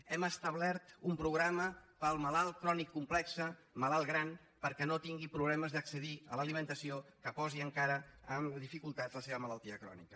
hem establert un programa per al malalt crònic complex malalt gran perquè no tingui problemes d’accedir a l’alimentació que posi encara en dificultats la seva malaltia crònica